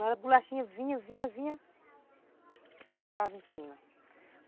A bolachinha vinha, vinha, vinha e parava em cima.